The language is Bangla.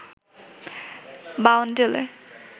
বাউন্ডুলে